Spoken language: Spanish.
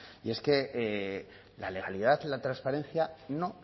y es que la legalidad y la transparencia no